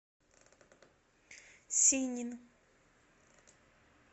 синин